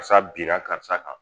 Karisa binna karisa kan